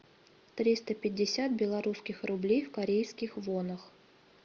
триста пятьдесят белорусских рублей в корейских вонах